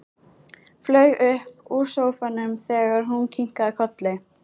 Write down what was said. Flaug upp úr sófanum þegar hún kinkaði kolli.